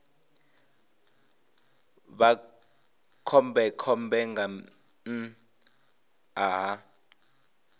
vha khombekhombe nga nnḓa ha